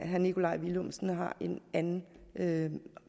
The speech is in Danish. herre nikolaj villumsen har en anden anden